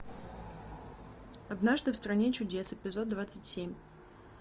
однажды в стране чудес эпизод двадцать семь